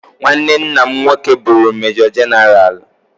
Nwanne nna nwoke bụụrụ mejọ jenaraalụ.